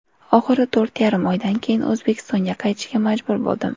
Oxiri to‘rt yarim oydan keyin O‘zbekistonga qaytishga majbur bo‘ldim.